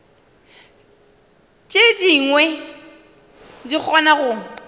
tše dingwe di kgona go